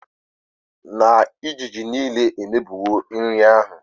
na ijiji nile a emebiwo nri ahụ